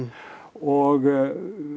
og